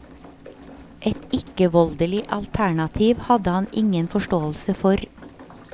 Et ikkevoldelig alternativ hadde han ingen forståelse for.